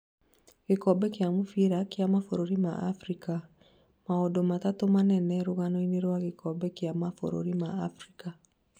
Gĩkombe kĩa mũbira kĩa mabũrũri ma Afrika: Maũndũ matandatũ manene rũgano-ini rwa gĩkombe kia mabũrurĩ ma Afrika.